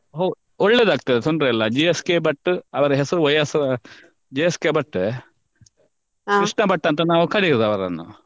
ಒಳ್ಳೇದಾಗ್ತದೆ ತೊಂದರೆ ಇಲ್ಲ G S K Bhat ಅವ್ರ ಹೆಸ್ರು Y S G S K Bhat Krishna Bhat ಅಂತ ನಾವ್ ಕರಿಯೋದು ಅವ್ರನ್ನ.